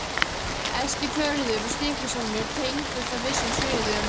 Eskifjörður og Stykkishólmur tengdust á vissum sviðum.